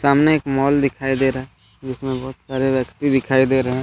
सामने एक दिखाई दे रहा है जिसमें बहुत सारे व्यक्ति दिखाई दे रहे हैं ।